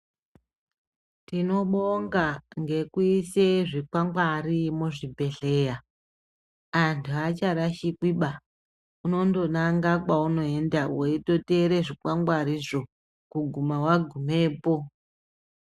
Tinobonga ngekuise zvikwangwari muzvibhedhleya antu acharashikiba unonanga kwaunoenda weitoteere zvikwangwarizvo kuguma wagumepo.